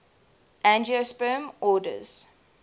angiosperm orders